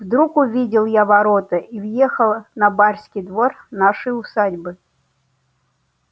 вдруг увидел я ворота и въехала на барский двор нашей усадьбы